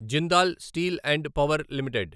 Jindal steel and power limited